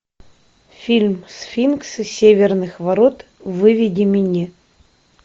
фильм сфинксы северных ворот выведи мне